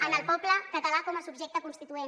en el poble català com a subjecte constituent